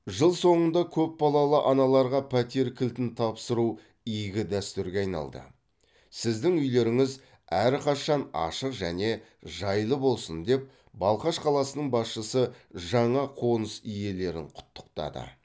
жыл соңында көпбалалы аналарға пәтер кілтін тапсыру игі дәстүрге айналды сіздің үйлеріңіз әрқашан ашық және жайлы болсын деп балқаш қаласының басшысы жаңа қоныс иелерін құттықтады